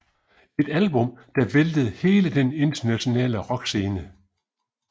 Et album der væltede hele den internationale rockscene